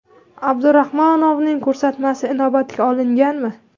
Abdurahmonovaning ko‘rsatmasi inobatga olinganmi?